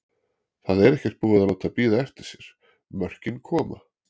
Það er ekkert búið að láta bíða eftir sér, mörkin koma.